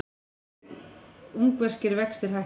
Ungverskir vextir hækka